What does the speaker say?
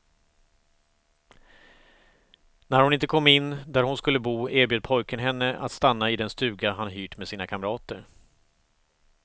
När hon inte kom in där hon skulle bo, erbjöd pojken henne att stanna i den stuga han hyrt med sina kamrater.